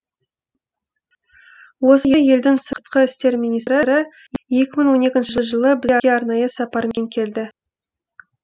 осы елдің сыртқы істер министрі екі мың он екінші жылы бізге арнайы сапармен келді